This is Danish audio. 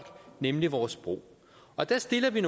nemlig vores sprog og der stiller vi